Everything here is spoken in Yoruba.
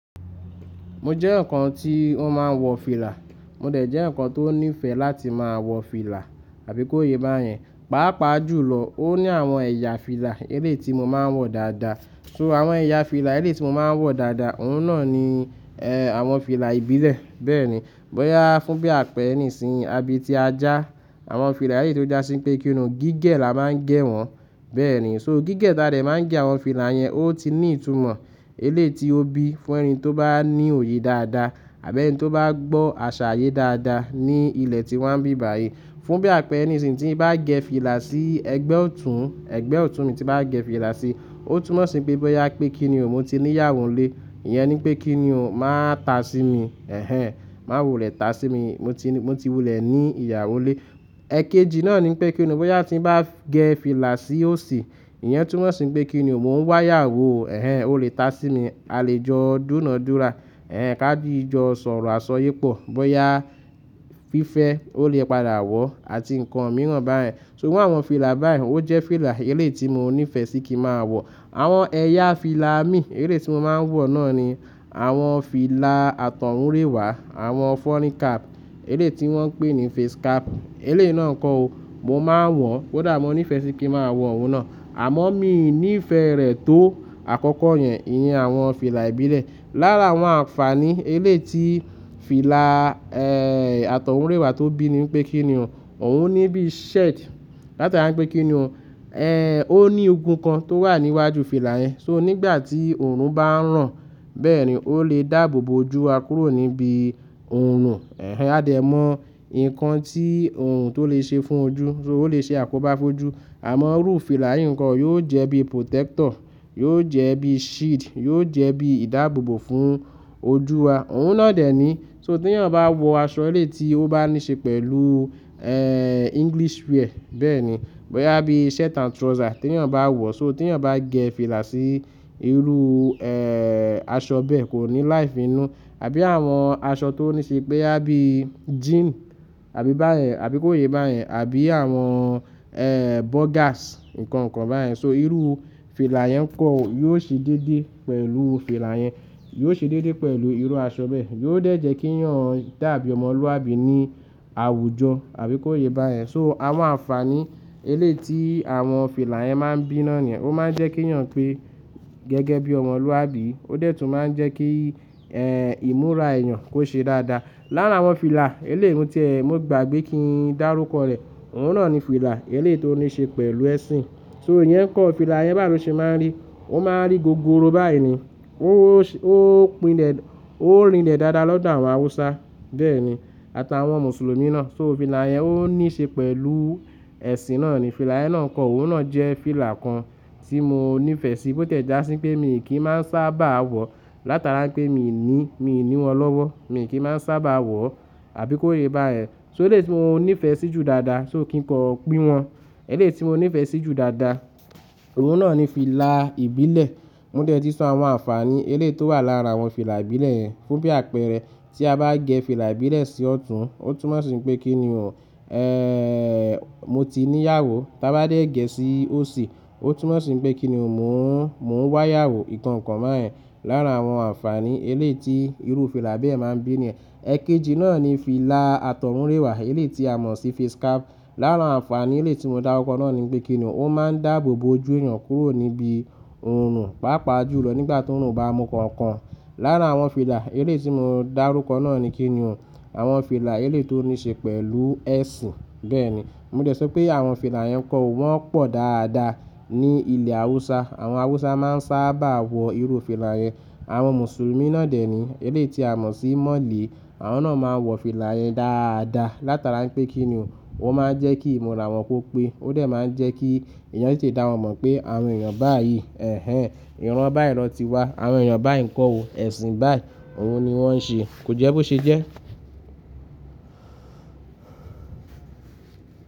Mo jẹ́'yan kan tí ó máa ń wọ fìlà, mo dẹ̀ jẹ́ ǹkan tó níìfẹ̀ láti máa wọ fìlà àbí kó yé bá yẹn. Pàápàá jù lọ, ó ní àwọn ẹ̀yà fìlà eléeti mo máa ń wọ dáadáa. So àwọn ẹ̀yà fìlà eléeti mo máa ń wọ dáadáa, òun náà ni, ẹ́, àwọn fìlà ìbílẹ̀. Bẹ́ẹ̀ni, bóyá fún bí àpẹẹrẹ nìsìnyìí, abí ti ajá, àwọn fìlà eléeti tó jásí pé kí ni o, gígẹ̀ la máa ń gẹ̀ wọ́n. Bẹ́ẹ̀ni, so gígẹ̀ ta dẹ̀ máa ń gẹ̀ àwọn fìlà yẹn, ó ti ní ìtumọ̀. Eléeti ó bí fún ẹni tó bá ní òye dáadáa àbí ẹni tó bá gbọ́ àṣàyé dáadáa ní ilẹ̀ tí wa n bí báyìí. Fún bí àpẹẹrẹ nìsìnyìí tí mo bá gẹ fìlà sí ẹgbẹ́ ọ̀tún, ẹgbẹ́ ọ̀tún mi tí màá gẹ fìlà sí, ó túnmọ̀ sí pé bóyá pé kí ni o, mo ti níyàwọn lé. Ìyẹn ni pé kí ni o, máa ta sí mi. Ẹ̀hẹn, má wo le ta sí mi. Mo ti, mo ti wulẹ̀ ní ìyàwó lé. Ẹ̀kejì náà ni pé kí ni o, bóyá tí mo bá gẹ fìlà sí òsì, ìyẹn túnmọ̀ sí pé kí ni o, mo ń wá ìyàwó. Ẹ̀hẹn, ó lè ta sí mi. A lè jọ dúna-dúra. Ẹ̀hẹn, káà jí jọ sọ̀rọ̀ àsọ yí pọ̀. Bóyá fífẹ́, ó lè padà wọ̀ àti ǹkan mìíràn báyẹn. So àwọn fìlà báyìí, ó jẹ́ fìlà eléeti mo níìfẹ̀ sí kí màá wọ. Àwọn ẹ̀yà fìlà mi eléeti mo máa ń wọ náà ni àwọn fìlà àtọ̀húnrèwà, àwọn funny cap, eléeti wọ́n ń pè ní face cap. Eléè náà ǹkan o, mo máa ń wọ̀n. Ó dàá, mo níìfẹ̀ sí kí màá wọ òun náà. Àmọ́ mi ò ní ìfẹ́ rẹ̀ tó àkọ́kọ́ yẹn, ìyẹn àwọn fìlà ìbílẹ̀. Lára àwọn àǹfàní eléeti fìlà, ẹ́, àtọ̀húnrèwà tó bí ni pé kí ni o, òun ní bí shed. Láti ará pé kí ni o, ẹ́, ó ní ogun kan tó wà níwájú fìlà yẹn. So nígbà tí òòrùn bá ń ràn, bẹ́ẹ̀ni, ó lè dàbòbò ojú wa kúrò níbi òòrùn. Ẹ̀hẹn, a dẹ̀ mọ ìkan tí òòrùn tó lè ṣe fún ojú. So ó lè ṣe àkóbá fójú. Àmọ́ irú fìlà yìí ǹkan, yóò jẹ́ bí protector, yóò jẹ́ bí shield, yóò jẹ́ bí ìdábòbò fún ojú wa. Òun náà dẹ̀ ni, so tí ènìyàn bá wọ aṣọ eléeti ó bá níí ṣe pẹ̀lú, ẹ́, English wear. Bẹ́ẹ̀ni, bóyá bí shirt and trouser tí ènìyàn bá wọ̀. So tí ènìyàn bá gẹ fìlà sí irú, ẹ́, aṣọ bẹ́ẹ̀ kò ní láì fi inú. Àbí àwọn aṣọ tó níí ṣe pé bóyá bí jean àbí bá yẹn, àbí kó yé bá yẹn, àbí àwọn, ẹ́, bogars, ǹkan kan bá yẹn. So irú fìlà yẹn nkọ́ yóò ṣe déédéé pẹ̀lú fìlà yẹn. Yóò ṣe déédéé pẹ̀lú irú aṣọ bẹ́ẹ̀. Yóò dẹ̀ jẹ́ kí ẹ̀yàn dàbí ọmọlúwàbí ní àwùjọ àbí kó yé bá yẹn. So àwọn àǹfàní eléeti àwọn fìlà yẹn máa ń bíná ni. Ó máa ń jẹ́ kí ẹ̀yàn pé gẹ́gẹ́ bí ọmọlúwàbí. Ó dẹ̀ tún máa ń jẹ́ kí, ẹ́, ìmúra èèyàn kó ṣe dáadáa. Lára àwọn fìlà eléèmu tí ẹ, mo gbàgbé kí n dá rúkọ rẹ̀, òun náà ni fìlà eléeti ó níí ṣe pẹ̀lú ẹ̀sìn. So ìyẹn kọ fìlà yẹn bá rò ṣe máa ń rí. Ó máa ń rí gọ̀gọ̀rò báyìí ni. Ó, ó pínlẹ̀, ó rinlẹ̀ dáadáa lọ́dọ̀ àwọn Hausa. Bẹ́ẹ̀ni, àtàwọn Mùsùlùmí náà. So fìlà yẹn ó níí ṣe pẹ̀lú ẹ̀sìn náà ni. Fìlà yẹn náà kọ, òun náà jẹ́ fìlà kan tí mo níìfẹ̀ sí bó tẹ̀ já sí pé mi kì í máa ń sábà wọ̀. Láti rá ipé mi ò ní, mi ò ní wọn lọ́wọ́. Mi kì í máa ń sábà wọ̀ àbí kó yé bá yẹn. So eléeti mo níìfẹ̀ sí ju dáadáa, so kí n kọ̀n pín wọn. Eléeti mo níìfẹ̀ sí ju dáadáa, òun náà ni fìlà ìbílẹ̀. Mo dẹ̀ ti sọ àwọn àǹfàní eléeti ó wà lára àwọn fìlà ìbílẹ̀ yẹn. Fún bí àpẹẹrẹ, tí a bá gẹ fìlà ìbílẹ̀ sí ọ̀tún, ó túnmọ̀ sí pé kí ni o, ẹ́, mo ti níyàwó. Tí a bá dé ẹ̀gẹ́ sí òsì, ó túnmọ̀ sí pé kí ni o, mo ń, mo ń wá ìyàwó. Ìkankan bá yẹn. Lára àwọn àǹfàní eléeti irú fìlà bẹ́ẹ̀ máa ń bí ni. Ẹ̀kejì náà ni fìlà àtọ̀húnrèwà eléeti a mọ̀ sí face cap. Lára àǹfàní eléeti mo dá rúkọ náà ni pé kí ni o, ó máa ń dàbòbò ojú èèyàn kúrò níbi òòrùn, pàápàá jù lọ nígbà tí òòrùn bá mú kànkàn. Lára àwọn fìlà eléeti mo dá rúkọ náà ni kí ni o, àwọn fìlà eléeti ó níí ṣe pẹ̀lú ẹ̀sìn. Bẹ́ẹ̀ni, mo dẹ̀ sọ pé àwọn fìlà yẹn kọ̀ wọ́n pọ̀ dáadáa ní ilẹ̀ Hausa. Àwọn Hausa máa ń sábà wọ irú fìlà yẹn. Àwọn Mùsùlùmí náà dẹ̀ ni, eléeti a mọ̀ sí mọ̀lẹ̀. Àwọn náà máa ń wọ fìlà yẹn dáadáa. Láti ara pé kí ni o, wọ́n máa ń jẹ́ kí ìmúra wọn kó pé. Ó dẹ̀ máa ń jẹ́ kí èèyàn te dá wọn mọ̀ pé àwọn èèyàn báyìí. Ẹ̀hẹn, ìran báyìí lọ ti wá. Àwọn èèyàn báyìí ǹkan o, ẹ̀sìn báyìí. Òun ni wọ́n ń ṣe. Kò jẹ́ bó ṣe jẹ́?